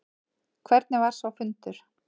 Hvernig var sá fundur?